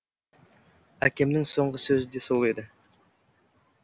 әкемнің соңғы сөзі де сол еді